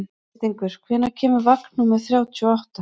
Birtingur, hvenær kemur vagn númer þrjátíu og átta?